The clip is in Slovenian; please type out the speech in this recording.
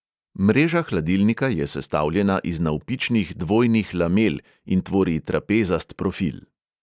Mreža hladilnika je sestavljena iz navpičnih dvojnih lamel in tvori trapezast profil.